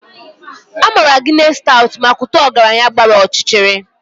A maara Guinness Stout maka ụtọ ọgaranya gbara ọchịchịrị.